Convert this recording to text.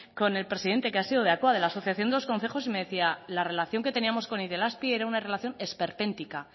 con el presidente que ha sido de la asociación de los concejos me decía que la relación que teníamos con itelazpi era una relación esperpéntica